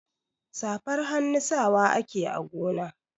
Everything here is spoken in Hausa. Safar hannu sawa ake a gona.